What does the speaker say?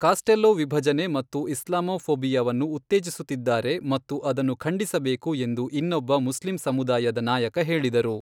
Costello ವಿಭಜನೆ ಮತ್ತು ಇಸ್ಲಾಮೋಫೋಬಿಯಾವನ್ನು ಉತ್ತೇಜಿಸುತ್ತಿದ್ದಾರೆ ಮತ್ತು ಅದನ್ನು ಖಂಡಿಸಬೇಕು ಎಂದು ಇನ್ನೊಬ್ಬ ಮುಸ್ಲಿಂ ಸಮುದಾಯದ ನಾಯಕ ಹೇಳಿದರು.